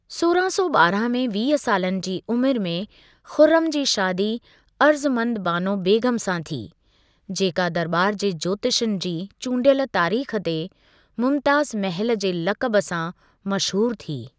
सोरहां सौ ॿारहां में वीह सालनि जी उमिरि में, खुर्रम जी शादी अर्जुमंद बानो बेगम सां थी, जेका दरॿार जे ज्योतिषनि जी चूंडियल तारीख़ ते मुमताज़ महल जे लक़ब सां मशहूर थी।